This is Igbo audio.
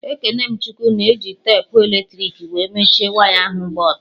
Ekene m Chukwu na-eji tepu eletrik wee mechie waya ahụ gba ọtọ